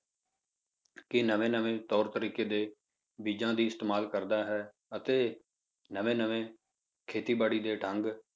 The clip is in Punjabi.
ਕਿ ਨਵੇਂ ਨਵੇਂ ਤੌਰ ਤਰੀਕੇ ਦੇ ਬੀਜਾਂ ਦੀ ਇਸਤੇਮਾਲ ਕਰਦਾ ਹੈ ਅਤੇ ਨਵੇਂ ਨਵੇਂ ਖੇਤੀਬਾੜੀ ਦੇ ਢੰਗ